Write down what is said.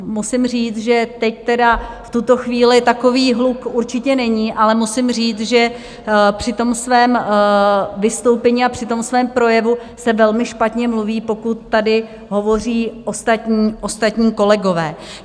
Musím říct, že teď tedy v tuto chvíli takový hluk určitě není, ale musím říct, že při tom svém vystoupení a při tom svém projevu se velmi špatně mluví, pokud tady hovoří ostatní kolegové.